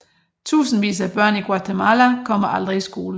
Tusindvis af børn i Guatemala kommer aldrig i skole